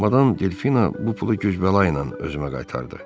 Madam Delfina bu pulu güc-bəla ilə özümə qaytardı.